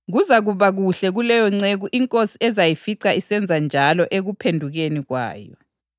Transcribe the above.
Kuzakuba kuhle kuleyo nceku inkosi ezayifica isenza njalo ekuphendukeni kwayo.